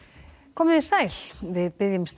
komiði sæl við biðjumst